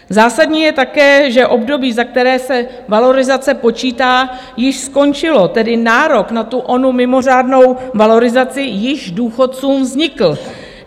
Zásadní je také, že období, za které se valorizace počítá, již skončilo, tedy nárok na tu onu mimořádnou valorizaci již důchodcům vznikl.